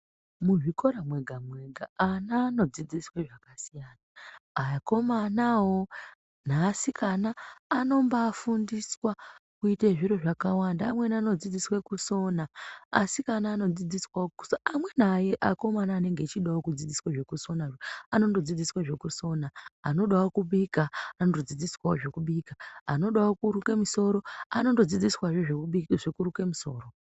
Muzvikora mwega-mwega ana anodzidziswe zvakasiyana akomanavo neasikana anombafundiswa kuite zviro zvakawanda. Amweni anodzidziswa kusona asikana anodzidziswavo kusona amwe akomana anonga anenge achidavo kudzidziswa zvekusonazvo anondo dzidziswe zvekusona. Anodavo kubika anondodzidziswavo zvekubika. Anodavo kuruke musoro anondodzidziswavo zvekuruka musoro.